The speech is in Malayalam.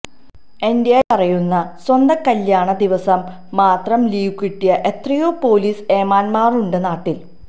എന്ിനേറഎ പറയുന്നു സ്വന്തം കല്യാണ ദിവസം മാതരം ലീവ് കിട്ടിയ എത്രയോ പൊലീസ് ഏമാന്മാരുണ്ട് നാട്ടിൽ